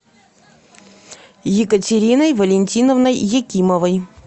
екатериной валентиновной якимовой